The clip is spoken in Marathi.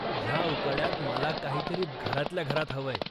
ह्या उकाड्यात मला काहीतरी घरातल्या घरात हवंय.